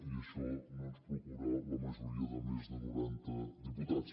i això no ens procura la majoria de més de noranta diputats